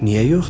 Niyə yoxdur?